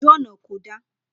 Ojú ọ̀nà kò dáa